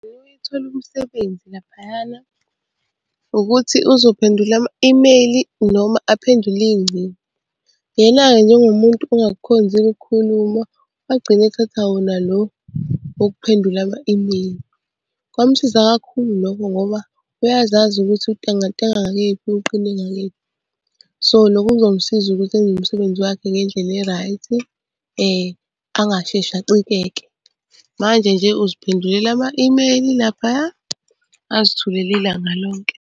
Uthole umsebenzi laphayana ukuthi uzophendula ama-imeyili noma aphendule iy'ngcingo. Yena-ke njengomuntu ongakukhonzile ukukhuluma, wagcina ethatha wona lo wokuphendula ama-imeyili. Kwamsiza kakhulu lokho ngoba uyazazi ukuthi untengantenga ngakephi uqine ngakephi. So, lokho kuzomsiza ukuthi enze umsebenzi wakhe ngendlela e-right, angasheshi acikeke. Manje nje uziphendulela ama-imeyili laphaya, azithulele ilanga lonke.